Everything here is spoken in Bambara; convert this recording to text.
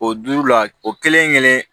O duuru la o kelen kelen